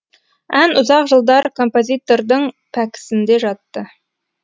ән ұзақ жылдар композитордың пәпкісінде жатты